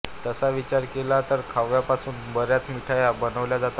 तसा विचार केला तर खव्यापासून बऱ्याच मिठाई बनवल्या जातात